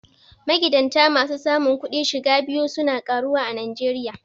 Magidanta masu samun kudin shiga biyu su na karuwa a Najeriya.